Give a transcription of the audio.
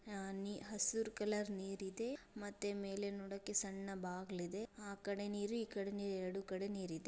ಹಸಿರು ಕಲರ್ ನೀರಿದೆ ಮತ್ತೆ ಮೇಲೆ ನೋಡೋಕೆ ಸಣ್ಣ ಬಾಗಿಲು ಇದೆ ಆ ಕಡೆ ನೀರು ಈ ಕಡೆ ನೀರು ಎರಡು ಕಡೆ ನೀರ ಇದೆ.